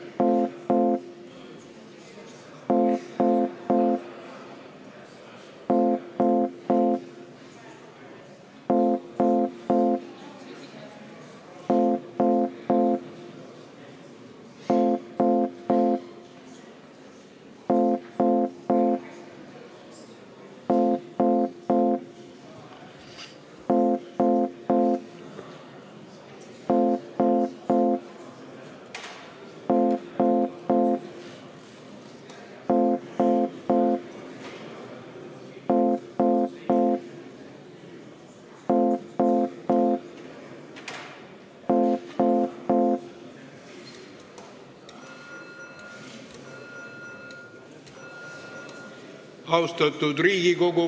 Austatud Riigikogu!